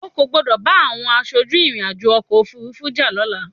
O kò gbọdọ̀ bá àwọm aṣojú ìrìn-àjò ọkọ̀-òfurufú jà lọ́la!